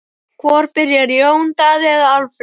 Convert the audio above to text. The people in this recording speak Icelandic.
Hvor byrjar, Jón Daði eða Alfreð?